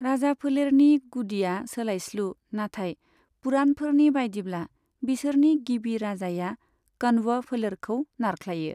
राजाफोलेरनि गुदिया सोलायस्लु, नाथाइ पुराणफोरनि बायदिब्ला, बिसोरनि गिबि राजाया कण्व फोलेरखौ नारख्लायो।